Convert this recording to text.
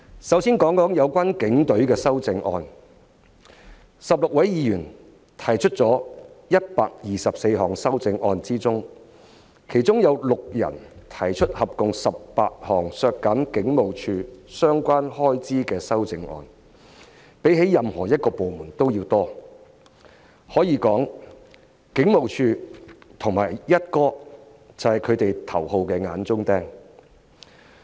首先談談有關警隊的修正案 ，16 位議員提出了124項修正案中，其中有6人提出合共18項削減香港警務處相關開支的修正案，數目較任何部門為多，可以說警務處和"一哥"是他們的頭號"眼中釘"。